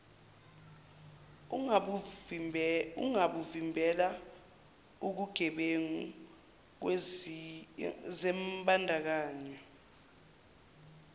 ungabuvimbela ukugebengu zimbandakanye